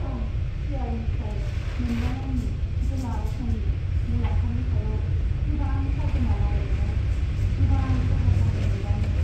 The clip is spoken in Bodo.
आं शेयारनिफ्राय मोननाय आंनि गोलाव समनि मुलाम्फानि सायाव गोबां खाजोना लागायनायाव गोबां खहा जानाय मोनदाङो।